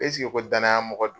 Esike ko danaya mɔgɔ don?